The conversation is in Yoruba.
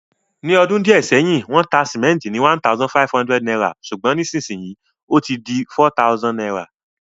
Ní odún díẹ̀ sẹ́hìn, wón ta cement ni #1,500 sùgbón nísinsíyì ó ti di #4000